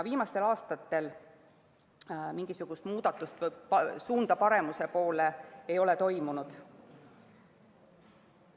Viimastel aastatel mingisugust muudatust või suunda paremuse poole ei ole toimunud.